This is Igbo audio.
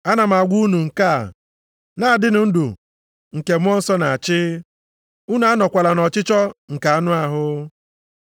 Ana m agwa unu nke a: na-adịnụ ndụ nke Mmụọ Nsọ na-achị, unu anọkwala nʼọchịchọ nke anụ ahụ.